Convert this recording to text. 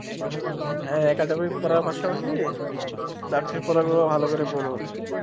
হ্যাঁ এটা তুমি পড়ার পাশাপাশি চাকরির পড়াগুলো ভালো করে পড়ো।